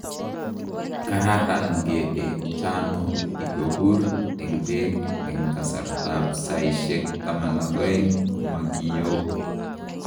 Kararan ngedek chano ikopur en pek en kasarta ap saishek 12 komakiyoo